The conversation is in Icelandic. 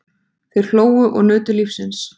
Þeir hlógu og nutu lífsins.